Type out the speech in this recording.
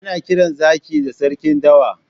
Ana kiran Zaki da sarkin dawa.